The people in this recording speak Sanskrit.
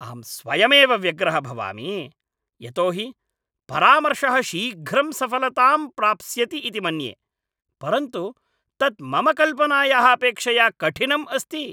अहं स्वयमेव व्यग्रः भवामि यतोहि परामर्शः शीघ्रं सफलतां प्राप्स्यति इति मन्ये, परन्तु तत् मम कल्पनायाः अपेक्षया कठिनम् अस्ति।